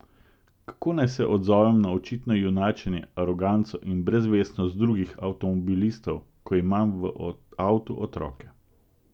Kako naj se odzovem na očitno junačenje, aroganco in brezvestnost drugih avtomobilistov, ko imam v avtu otroke?